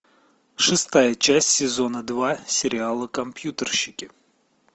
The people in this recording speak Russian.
шестая часть сезона два сериала компьютерщики